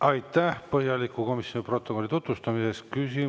Aitäh põhjaliku komisjoni protokolli tutvustamise eest!